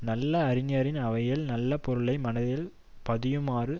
நல்ல அறிஞரின் அவையில் நல்ல பொருளை மனதில் பதியுமாறு